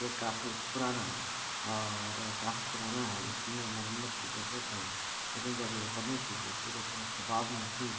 ये काफी पुराना और काफी पुराना है इसमें मरमत की जरूरत है लेकिन जब ये बनी थी ये पुरे शबाब में थी।